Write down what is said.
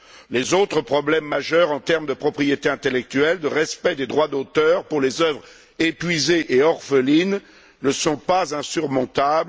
Les autres problèmes majeurs en termes de propriété intellectuelle, de respect des droits d'auteur pour les œuvres épuisées et orphelines ne sont pas insurmontables.